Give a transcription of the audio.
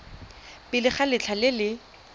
pele ga letlha le le